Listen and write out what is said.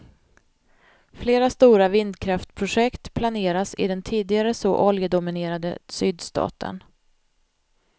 Flera stora vindkraftprojekt planeras i den tidigare så oljedominerade sydstaten.